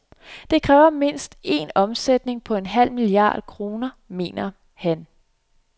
Det kræver mindst en omsætning på en halv milliard kroner, mener han.